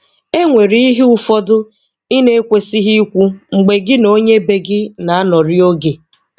E nwere ihe ụfọdụ ị na-ekwesịghị ikwu mgbe gị na onye be gị na-anọrị oge.